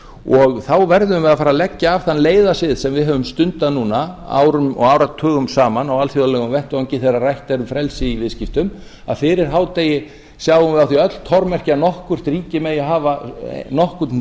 og þá verðum við að leggja af þann leiða sið sem við höfum stundað núna árum og áratugum saman á alþjóðlegum vettvangi þegar rætt er um frelsi í viðskiptum að fyrir hádegi sjáum við á því öll tormerki að nokkurt ríki megi hafa nokkurn